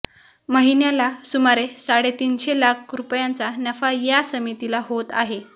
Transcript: महिन्याला सुमारे साडेतीनशे लाख रुपयांचा नफा या समितीला होत आहे